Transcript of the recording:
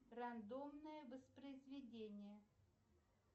рандомное воспроизведение